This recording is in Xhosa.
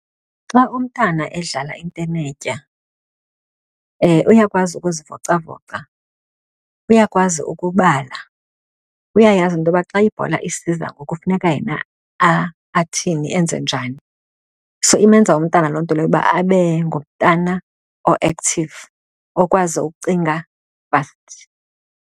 Xa umntana edlala intenetya uyakwazi ukuzivocavoca, uyakwazi ukubala, uyayazi into yoba xa ibhola isiza ngoku kufuneka yena athini enze njani. So, imenza umntana loo nto leyo uba abe ngumntana o-active, okwazi ukucinga fast.